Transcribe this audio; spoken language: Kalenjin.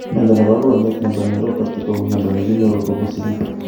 Mnyondo nebo konyek nebo neuropathy ko mnyondo nekinyoru kobun sigiik